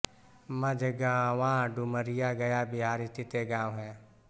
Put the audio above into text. मझगावां डुमरिया गया बिहार स्थित एक गाँव है